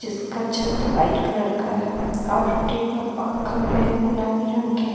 इसका छत white colour का है और टेबल और खंबे गुलाबी रंग के--